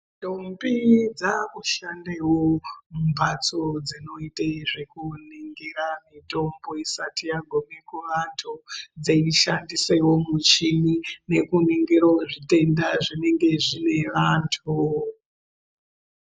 Ndombe dzakushandewo mumhatso dzinoite zvekuningira mutombo isati yagume kuvantu dzeishandisewo muchini nekuningirawo zvitenda zvinenge zvine vantu.